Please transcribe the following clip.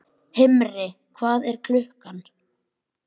Himri, hvað er klukkan?